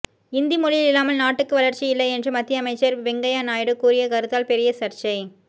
இந்தி மொழி இல்லாமல் நாட்டுக்கு வளர்ச்சி இல்லை என்று மத்திய அமைச்சர் வெங்கையா நாயுடு கூறிய கருத்தால் பெரிய சர்ச்சை